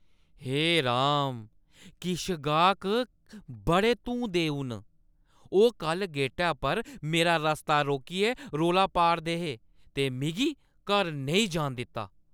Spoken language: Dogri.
हे राम, किश गाह्क बड़े धूं-देऊ न। ओह् कल्ल गेटै पर मेरा रस्ता रोकियै रौला पा 'रदे हे ते मिगी घर नेईं जान दित्ता !